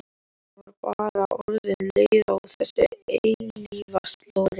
Ég var bara orðin leið á þessu eilífa slori.